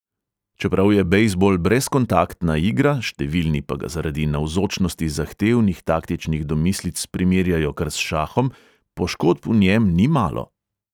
Čeprav je bejzbol brezkontaktna igra, številni pa ga zaradi navzočnosti zahtevnih taktičnih domislic primerjajo kar s šahom, poškodb v njem ni malo.